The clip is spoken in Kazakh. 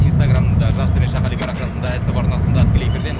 инстаграмда жас төмен ш қали парақшасында ств арнасында тікелей эфирдеміз